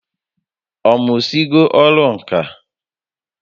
Ọ mụsigo ọrụ ǹkà